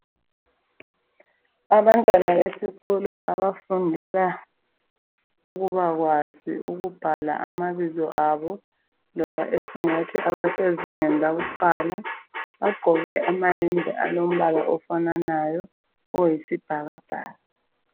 Abantwana besikolo abafundela ukuba kwazi ukubhala amabizo abo loba esingathi abasezingeni lakuqala bagqoke amayembe alombala ofananayo oyisibhakabhaka.